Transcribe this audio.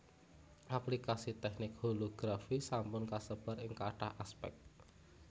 Aplikasi teknik holografi sampun kasebar ing kathah aspèk